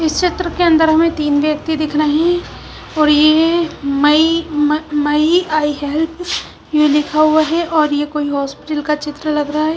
इस चित्र के अंदर हमें तीन व्यक्ति दिख रहे हैं और यह म मई में आई हेल्प यू लिखा हुआ है और यह कोई होसिप्टल का चित्र लगा हुआ है।